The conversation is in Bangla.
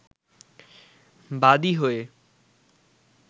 বাদি হয়ে